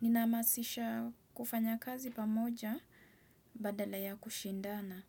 Nina hamasisha kufanya kazi pamoja badala ya kushindana